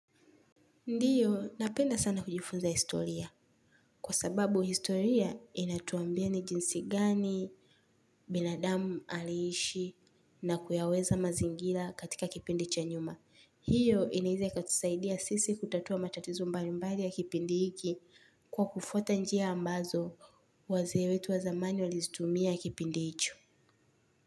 Ndio, napenda sana kujifunza historia. Kwa sababu historia inatuambia ni jinsi gani, binadamu aliishi na kuyaweza mazingira katika kipindi cha nyuma. Hiyo inaeza ikatusaidia sisi kutatua matatizo mbali mbali ya kipindi hiki kwa kufuata njia ambazo wazee wetu wa zamani walizitumia kipindi hicho.